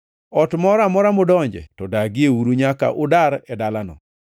Ot moro amora mudonje, to dagieuru nyaka udar e dalano.